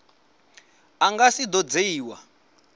a nga si do dzhiiwa